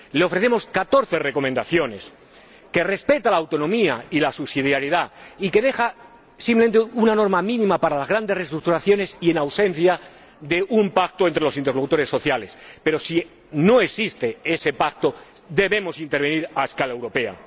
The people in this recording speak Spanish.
Le ofrecemos 14 recomendaciones que respetan la autonomía y la subsidiariedad y que dejan simplemente una norma mínima para las grandes reestructuraciones y en ausencia de un pacto entre los interlocutores sociales, pero si no existe ese pacto debemos intervenir a escala europea.